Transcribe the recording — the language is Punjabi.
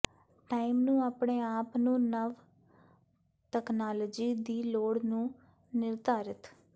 ਟਾਈਮ ਨੂੰ ਆਪਣੇ ਆਪ ਨੂੰ ਨਵ ਤਕਨਾਲੋਜੀ ਦੀ ਲੋੜ ਨੂੰ ਨਿਰ੍ਧਾਰਿਤ